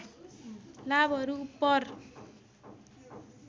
लाभहरू उपर